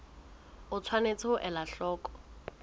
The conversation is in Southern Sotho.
o tshwanetse ho ela hloko